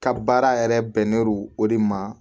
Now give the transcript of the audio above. Ka baara yɛrɛ bɛnn'o o de ma